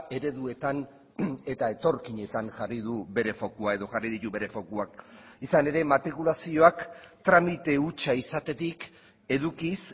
ereduetan eta etorkinetan jarri du bere fokua edo jarri ditu bere fokuak izan ere matrikulazioak tramite hutsa izatetik edukiz